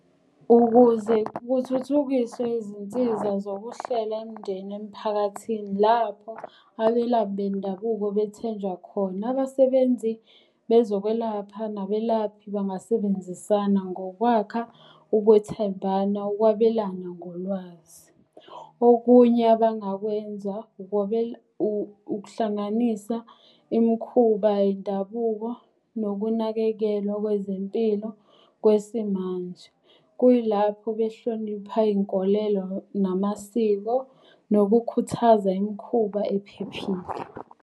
Ukuze kuthuthukiswe izinsiza zokuhlela imndeni emphakathini lapho abelaphi bendabuko bethenjwa khona. Abasebenzi bezokwelapha nabelaphi bangasebenzisana ngokwakha ukwethembana, ukwabelana ngolwazi. Okunye abangakwenza ukuhlanganisa imikhuba yendabuko nokunakekelwa kwezempilo kwesimanje. Kuyilapho behlonipha iy'nkolelo namasiko nokukhuthaza imikhuba ephephile.